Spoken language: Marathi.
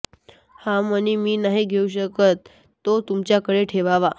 हा मणी मी नाही घेऊ शकत तो तुमच्याकडेच ठेवावा